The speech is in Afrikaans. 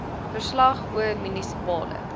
verslag oor munisipale